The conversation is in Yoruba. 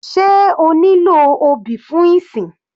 Sé a nílò obì fún ìsìn?